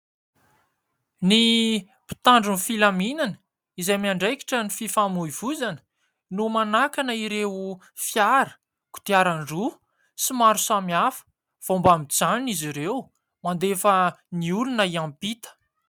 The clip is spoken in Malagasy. Ny mpitandro ny filaminana izay miandraikitra ny fifamoivoizana no manakana ireo fiara, kodiaran-droa sy maro samihafa vao mba mijanona izy ireo mandefa ny olona hiampita.